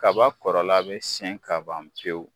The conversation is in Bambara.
Kababan kɔrɔla bɛ siyɛn ka ban pewu